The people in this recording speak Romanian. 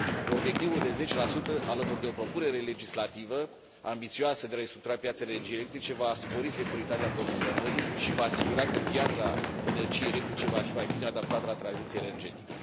Obiectivul de 10, alături de o propunere legislativă ambițioasă de a restructura piața de energii electrice, va spori securitatea aprovizionării și va asigura că piața energiei electrice va fi mai bine adaptată la tranziția energetică.